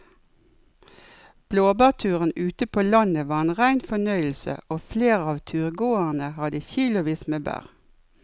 Blåbærturen ute på landet var en rein fornøyelse og flere av turgåerene hadde kilosvis med bær.